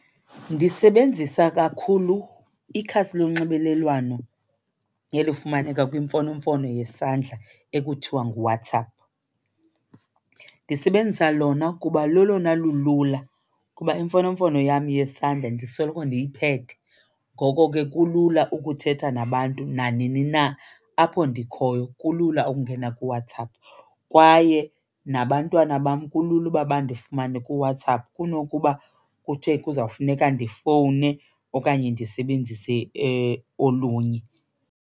Ndisebenzisa kakhulu ikhasi lonxibelelwano olufumaneka kwimfonomfono yesandla ekuthiwa nguWhatsApp. Ndisebenzisa lona kuba lolona lulula kuba imfonomfono yam yesandla ndisoloko ndiyiphethe, ngoko ke kulula ukuthetha nabantu nanini na apho ndikhoyo. Kulula ukungena kuWhatsApp kwaye nabantwana bam kulula uba bandifumane kuWhatsApp kunokuba kuthe kuzawufuneka ndifowune okanye ndisebenzise olunye.